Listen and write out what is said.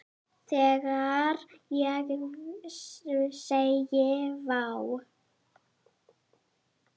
Þegar ég segi: Vá!